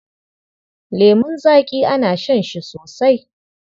Lemun zaƙi ana shan shi sosai.